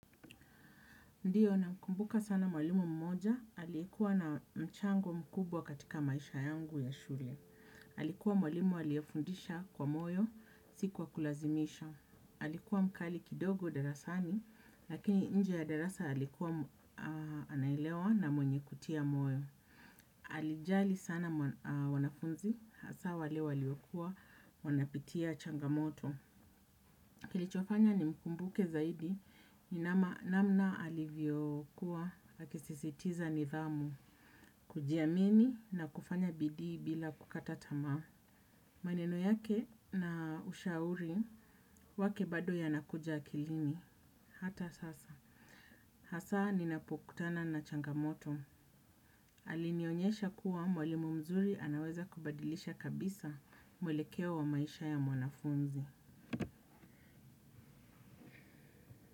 Ndiyo namkumbuka sana mwalimu mmoja, alikuwa na mchango mkubwa katika maisha yangu ya shule. Alikuwa mwalimu aliyefundisha kwa moyo, si kwa kulazimisha. Alikuwa mkali kidogo darasani, lakini nje ya darasa alikuwa anaelewa na mwenye kutia moyo. Alijali sana wanafunzi, hasa wale waliokuwa wanapitia changamoto. Kilichofanya nimkumbuke zaidi, ni namna alivyokuwa, akisisitiza nidhamu, kujiamini na kufanya bidii bila kukata tamaa. Maneno yake, na ushauri wake bado ya nakuja akilini, hata sasa. Hasa ninapokutana na changamoto. Alinionyesha kuwa mwalimu mzuri anaweza kubadilisha kabisa mwelekeo wa maisha ya mwanafunzi.